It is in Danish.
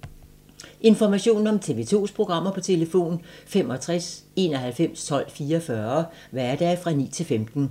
Information om TV 2's programmer: 65 91 12 44, hverdage 9-15.